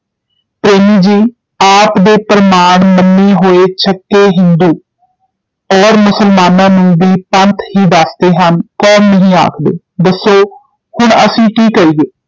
ਪ੍ਰੇਮੀ ਜੀ ਆਪ ਦੇ ਪ੍ਰਮਾਣ ਮੰਨੇ ਹੋਏ ਛੱਕੇ ਹਿੰਦੂ ਔਰ ਮੁਸਲਮਾਨਾਂ ਨੂੰ ਭੀ ਪੰਥ ਹੀ ਦਸਦੇ ਹਨ, ਕੌਮ ਨਹੀਂ ਆਖਦੇ, ਦੱਸੋ ਹੁਣ ਅਸੀਂ ਕੀ ਕਰੀਏ?